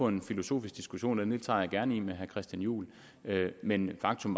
en filosofisk diskussion af det den tager jeg gerne med herre christian juhl men faktum